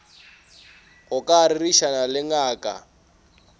go ka rerišana le ngaka